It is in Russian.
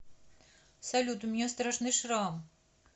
салют у меня страшный шрам